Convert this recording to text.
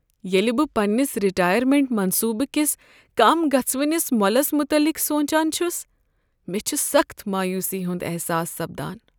ییٚلہ بہٕ پنٛنس رٹایرمینٹ منصوبہٕ کس کم گژھوِنس مۄلس متعلق سونچان چھُس ،مےٚ چھُ سخت مایوٗسی ہُنٛد احساس سپدان۔